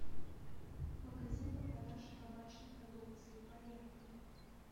магазин по продаже табачной продукции поехали